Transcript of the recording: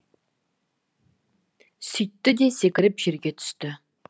сүйтті де секіріп жерге түсті